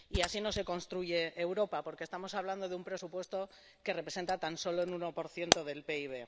Y así no se construye Europa, porque estamos hablando de un presupuesto que representa tan solo un 1 del PIB.